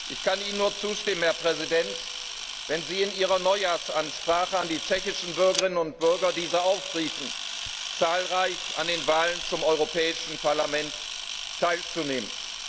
Ich kann Ihnen nur zustimmen, Herr Präsident, wenn Sie in Ihrer Neujahrsansprache an die tschechischen Bürgerinnen und Bürger diese aufriefen, zahlreich an den Wahlen zum Europäischen Parlament teilzunehmen.